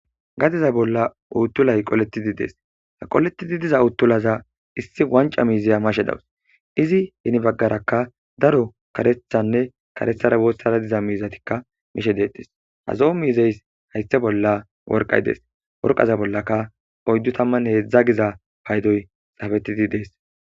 gadeza bolla uuttulay qoletidi dees ha qoletidi diza uttulaza issi wanca miiziya mashe dawus izi heni baggarakka daro karethanne karethara woossara diza miizatikka mishe deetes hazo7o miizeys haysse bolla worqay dees worqaza bollaka oyddu tamman heedzdza giza paydoy xafetidi dees